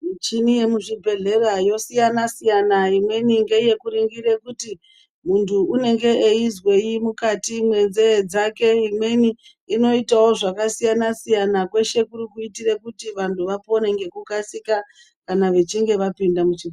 Michini yemuzvibhedhlera yosiyana-siyana. Imweni ngeyekuningira kuti muntu unenge eizwei mukati mwenzee dzake. Imweni inoitawo zvakasiyana-siyana. Kweshe kuti kuitire kuti vantu vapone ngekukasika kana vachinge vapinda muchibhe...